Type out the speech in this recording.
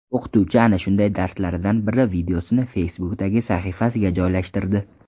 O‘qituvchi ana shunday darslaridan biri videosini Facebook’dagi sahifasiga joylashtirdi.